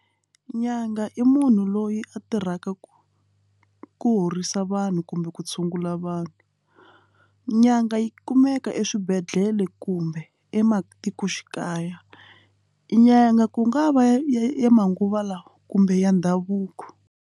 Nyanga i munhu loyi a tirhaka ku ku horisa vanhu kumbe ku tshungula vanhu nyanga yi kumeka eswibedhlele kumbe ematikoxikaya nyanga ku nga va ya manguva lawa kumbe ya ndhavuko.